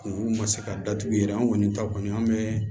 U ma se ka datugu yɛrɛ an kɔni ta kɔni an bɛ